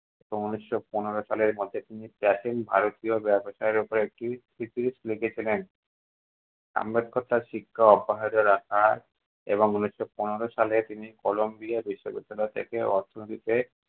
ও উনিশশো পনেরো সালের মধ্যে তিনি প্রাচীন ভারতীয় ব্যবসার উপর একটি লিখে ছিলেন। আম্বেদকর তার শিক্ষা অব্যাহত রাখা এবং ঊনিশশো পনেরো সালে তিনি কলম্বিয়া বিশ্ববিদ্যালয় থেকে অর্থনীতিতে-